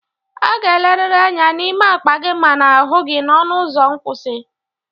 A ga-eleriri anya n'ime akpa gị ma n'ahụ gị n'ọnụ ụzọ nkwụsị.